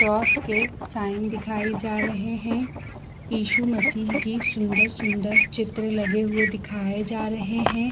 Cross के sign दिखाई जा रहे है इसु मसीह की सुंदर-सुंदर चित्र लगे हुए दिखाये जा रहे है।